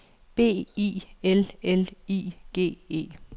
B I L L I G E